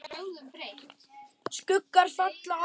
Skuggar falla á glugga.